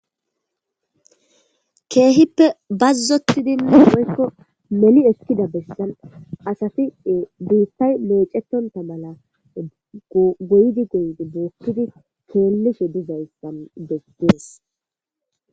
keehippe bazzotidina moykko meli ekkida bessan asati biittay meecetonta mala goydi goyidi boochidi keellishe dizayssan bestees